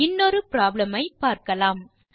இன்னொரு ப்ராப்ளம் பார்க்கலாம்